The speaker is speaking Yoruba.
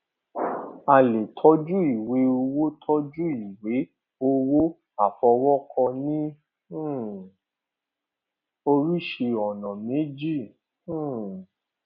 a lè tójú ìwé owó tójú ìwé owó àfọwókọ ní um oríṣii ònà méjì um